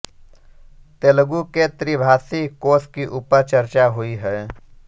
तेलगू के त्रिभाषी कोश की ऊपर चर्चा हुई है